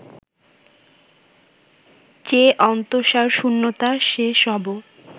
যে অন্তঃসারশূন্যতা সে সবও